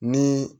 Ni